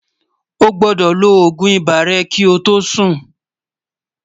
ọ̀ gbódò ló ògún ibà rè kí ọ tó Sùn